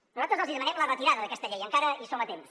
nosaltres els hi demanem la retirada d’aquesta llei encara hi som a temps